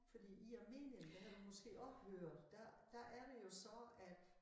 Fordi i Armenien der har du måske også hørt der der er det jo så at